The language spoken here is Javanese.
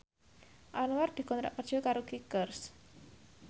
Anwar dikontrak kerja karo Kickers